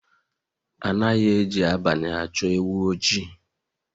Anaghị eji abalị achọ ewu oji